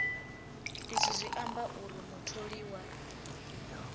izwi zwi amba uri mutholiwa